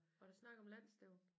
Var der snak om landsstævnet?